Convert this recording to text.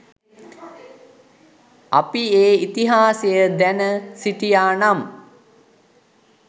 අපි ඒ ඉතිහාසය දැන සිටියා නම්